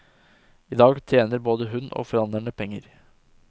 I dag tjener både hun og forhandlerne penger.